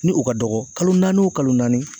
Ni u ka dɔgɔ kalo naani o kalo naani